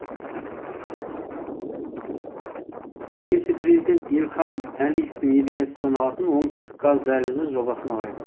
немесе президент ильхам әлиевтің идеясы саналатын оңтүстік газ дәлізі жобасын алайық